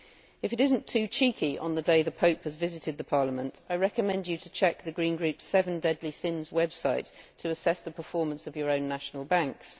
If it is not too cheeky on the day the Pope has visited Parliament, I recommend you to check the Green Group's Seven Deadly Sins website to assess the performance of your national banks.